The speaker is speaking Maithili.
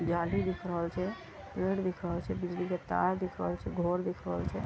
गाड़ी दिख रहल छै पेड़ दिख रहल छै बिजली के तार दिख रहल छै घर दिख रहल छै।